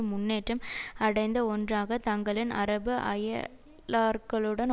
முன்னேற்றம் அடைந்த ஒன்றாக தங்களின் அரபு அயலார்களுடன்